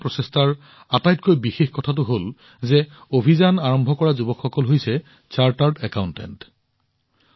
এই সফল প্ৰচেষ্টাৰ আটাইতকৈ উল্লেখযোগ্য কথাটো হল যে অভিযান আৰম্ভ কৰা যুৱকসকল হৈছে চাৰ্টাৰ্ড একাউণ্টেণ্ট